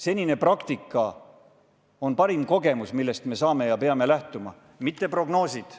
Senine praktika on parim kogemus, millest me peame lähtuma, mitte prognoosidest.